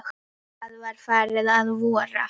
Það var farið að vora.